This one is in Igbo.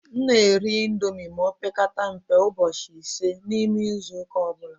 M na- eri índomi ma opekata mpe ụbọchị ịse na ime izuuka ọbula.